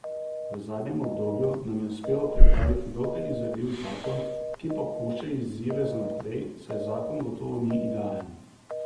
V zadnjem obdobju nam je uspelo pripraviti dokaj izvedljiv zakon, ki pa pušča izzive za najprej, saj zakon gotovo ni idealen.